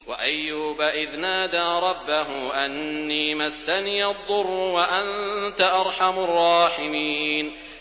۞ وَأَيُّوبَ إِذْ نَادَىٰ رَبَّهُ أَنِّي مَسَّنِيَ الضُّرُّ وَأَنتَ أَرْحَمُ الرَّاحِمِينَ